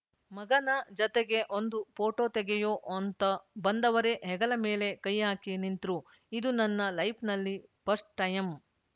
ಮಗನ ಜತೆಗೆ ಒಂದು ಫೋಟೋ ತೆಗೆಯೋ ಅಂತ ಬಂದವರೇ ಹೆಗಲ ಮೇಲೆ ಕೈ ಹಾಕಿ ನಿಂತ್ರು ಇದು ನನ್ನ ಲೈಫ್‌ನಲ್ಲಿ ಪಸ್ಟ್‌ ಟೈಯಮ್‌